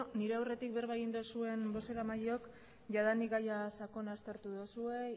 nire aurretik berba egin duzuen bozeramailok jadanik gaia sakon aztertu duzue